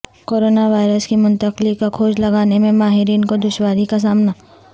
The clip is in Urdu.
کرونا وائرس کی منتقلی کا کھوج لگانے میں ماہرین کو دشواری کا سامنا